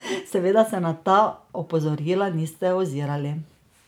Seveda se na ta opozorila niste ozirali!